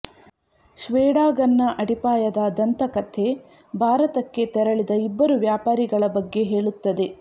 ಶ್ವೇಡಾಗನ್ನ ಅಡಿಪಾಯದ ದಂತಕಥೆ ಭಾರತಕ್ಕೆ ತೆರಳಿದ ಇಬ್ಬರು ವ್ಯಾಪಾರಿಗಳ ಬಗ್ಗೆ ಹೇಳುತ್ತದೆ